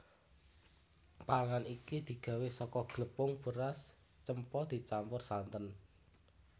Panganan iki digawé saka glepung beras cempa dicampur santen